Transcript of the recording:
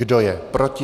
Kdo je proti?